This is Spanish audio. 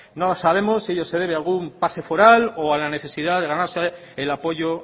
no sabemos si ello se debe a algún pase foral o a la necesidad de ganarse el apoyo